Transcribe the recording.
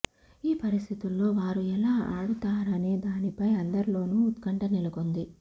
ఈ పరిస్థితుల్లో వారు ఎలా ఆడుతారనే దానిపై అందరిలోనూ ఉత్కంఠ నెలకొంది